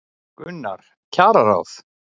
Gunnar: Kjararáð?